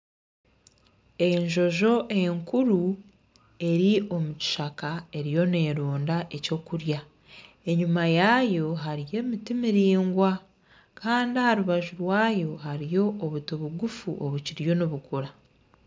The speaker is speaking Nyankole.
Enjojo enkuru eri omu kishaka eriyo neronda ekyokurya enyuma yaayo hariyo emiti miraingwa Kandi aha rubaju rwayo hariyo obuti bukye buto obukiriyo nibukura